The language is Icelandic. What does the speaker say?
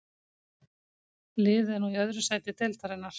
Liðið er nú í öðru sæti deildarinnar.